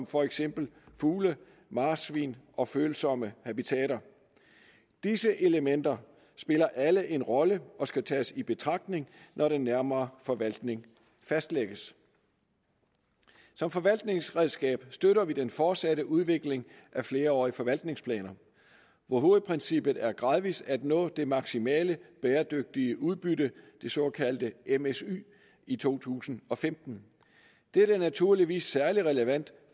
for eksempel fugle marsvin og følsomme habitater disse elementer spiller alle en rolle og skal tages i betragtning når den nærmere forvaltning fastlægges som forvaltningsredskab støtter vi den fortsatte udvikling af flerårige forvaltningsplaner hvor hovedprincippet er gradvis at nå det maksimale bæredygtige udbytte det såkaldte msy i to tusind og femten dette er naturligvis særlig relevant